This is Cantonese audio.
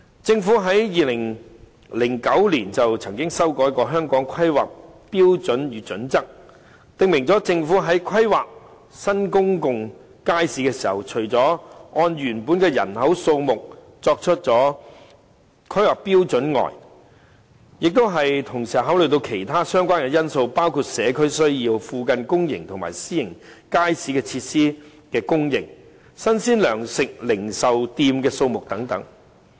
政府在2009年曾經修改《香港規劃標準與準則》，訂明政府在規劃新公眾街市的時候，除了按原本以人口數目作為規劃標準外，亦要同時考慮其他相關因素，包括社區需要、附近公營及私營街市設施的供應、新鮮糧食零售店的數目等。